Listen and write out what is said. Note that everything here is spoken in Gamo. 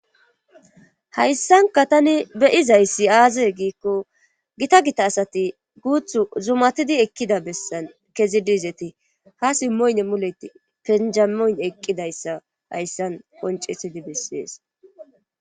Hayssanka tani beyizayssi aazee giikko gita gita asati guuthu zumatidi ekkida bessan kezi diizeti ha simmoyne muleti penjamoyn eqqidayssa hayssan qoncisidi bessees.